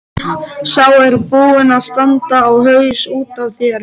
Sá er búinn að standa á haus út af þér!